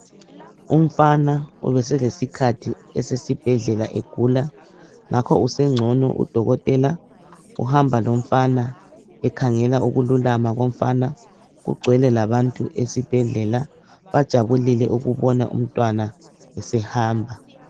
Umfana ubeselesikhathi esesibhedlela egula, ngakho usengcono, udokotela uhamba lomfana ekhangela ukululama komfana, kugcwele labantu esibhedlela bajabulile ukubona umntwana esehamba.